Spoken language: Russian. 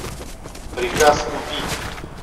приказ убить